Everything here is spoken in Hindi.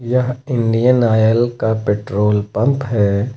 यहां इंडियन ऑयल का पेट्रोल पंप है।